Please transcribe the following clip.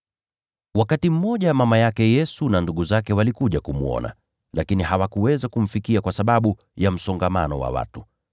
Wakati mmoja mama yake Yesu na ndugu zake walikuja kumwona, lakini hawakuweza kumfikia kwa sababu ya msongamano wa watu.